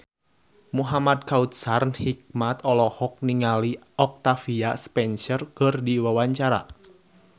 Muhamad Kautsar Hikmat olohok ningali Octavia Spencer keur diwawancara